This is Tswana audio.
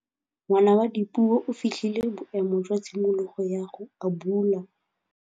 Ngwana wa Dipuo o fitlhile boêmô jwa tshimologô ya go abula.